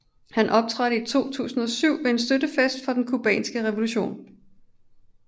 Han optrådte i 2007 ved en støttefest for den cubanske revolution